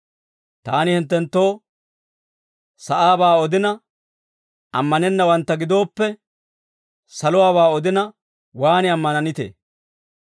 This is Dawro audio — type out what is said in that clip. Taani hinttenttoo sa'aabaa odina, ammanennawantta gidooppe, saluwaabaa odina waan ammananitee?